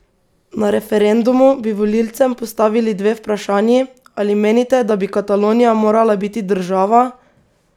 Na referendumu bi volivcem postavili dve vprašanji: "Ali menite, da bi Katalonija morala biti država?